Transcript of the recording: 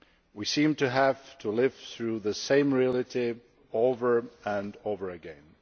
We seem to have to live through the same reality over and over again.